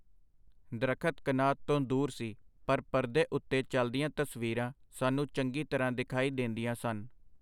ਦਰੱਖਤ ਕਨਾਤ ਤੋਂ ਦੂਰ ਸੀ, ਪਰ ਪਰਦੇ ਉਤੇ ਚਲਦੀਆਂ ਤਸਵੀਰਾਂ ਸਾਨੂੰ ਚੰਗੀ ਤਰ੍ਹਾਂ ਦਿਖਾਈ ਦੇਂਦੀਆਂ ਸਨ.